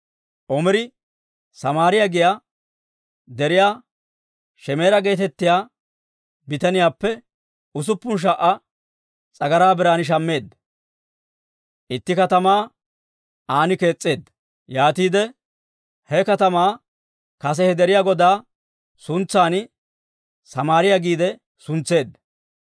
Omiri Samaariyaa giyaa deriyaa Shemeera geetettiyaa bitaniyaappe usuppun sha"a s'agaraa biran shammeedda; itti katamaa an kees's'eedda. Yaatiide he katamaa kase he deriyaa godaa suntsan Samaariyaa giide suntseedda.